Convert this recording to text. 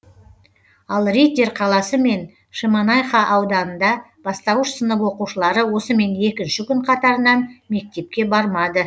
ал риддер қаласы мен шемонайха ауданында бастауыш сынып оқушылары осымен екінші күн қатарынан мектепке бармады